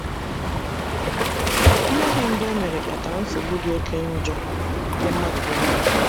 Mmehie mbụ emere kpatara nsogbu dị oke njọ nye mmadụ niile.